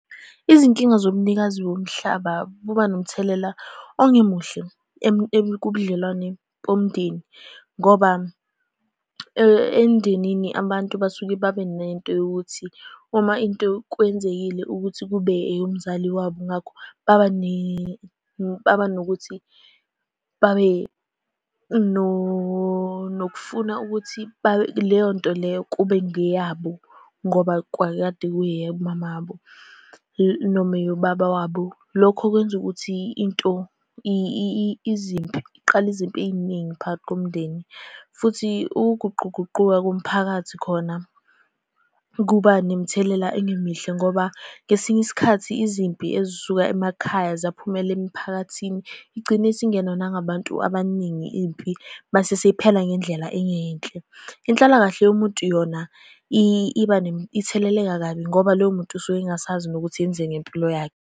Izinkinga zobunikazi bomhlaba buba nomthelela ongemuhle kubudlelwane bomndeni, ngoba emndenini abantu basuke babe nento yokuthi uma into kwenzekile ukuthi kube eyomzali wabo, ngakho baba baba nokuthi babe nokufuna ukuthi leyonto leyo kube ngeyabo, ngoba kwakukade kungeyomama wabo noma eyobaba wabo. Lokho kwenza ukuthi into, izimpi, kuqala izimpi ey'ningi phakathi komndeni. Futhi ukuguquguquka komphakathi khona kuba nemithelela engemihle, ngoba ngesinye isikhathi izimpi ezisuka emakhaya ziyaphumela emiphakathini, igcine isingenwa nangabantu abaningi impi, mase seyiphela ngendlela engeyinhle. Inhlalakahle yomuntu yona iba itheleleka kabi, ngoba loyo muntu usuke engasazi nokuthi enzeni ngempilo yakhe.